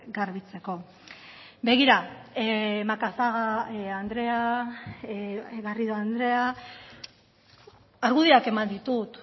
garbitzeko begira macazaga andrea garrido andrea argudioak eman ditut